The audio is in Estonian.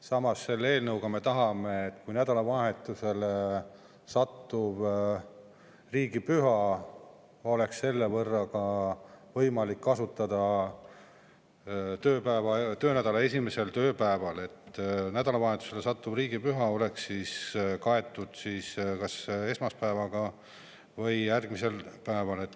Samas tahame eelnõuga saavutada seda, et kui riigipüha satub nädalavahetusele, oleks võimalik töönädala esimese tööpäevaga, ja see oleks kas esmaspäevaga või sellest järgmise päevaga.